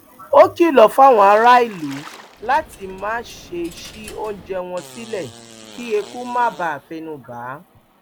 ó kìlọ fáwọn aráàlú láti má ṣe ṣí oúnjẹ wọn sílẹ kí eku má bàa fẹnu bà á